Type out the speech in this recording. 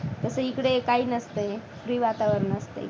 तसं इकडे काही नसतं free वातावरण असतं.